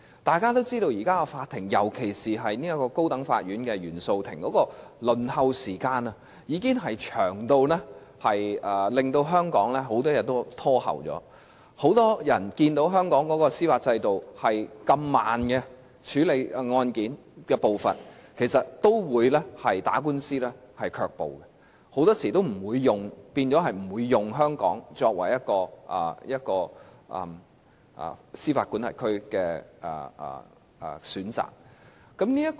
大家也知道，現時的法庭，尤其是高等法院原訟法庭的輪候時間，已經長至令很多案件也被延後，很多人看見香港的司法制度處理案件的步伐如此緩慢時，其實也會對打官司卻步，令他們很多時候也不會選擇在香港這個司法管轄區打官司。